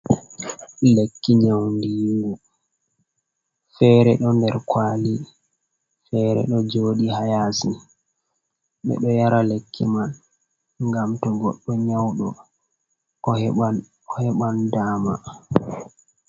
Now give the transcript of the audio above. Lekki nyaundigu. Fere ɗo nder kwaali, fere ɗo jooɗi haa yaasi. Ɓe ɗo yara lekki man, ngam to goɗdo nyauɗo o heɓan, o heɓan dama.